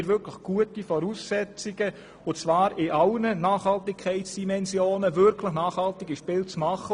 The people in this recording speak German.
Wir haben in allen Nachhaltigkeitsdimensionen gute Voraussetzungen, um wirklich nachhaltige Spiele zu machen.